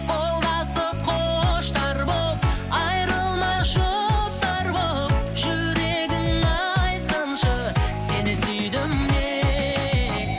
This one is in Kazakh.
қолдасып құштар боп айырылмас жұптар боп жүрегің айтсыншы сені сүйдім деп